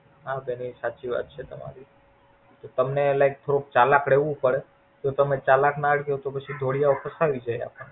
હા બેન એ સાચી વાત છે તમને એના Through ચાલાક રેવું પડે જો તમે ચાલાક ના રયો તો ઢોળી યા ફસાવી જય આપડને.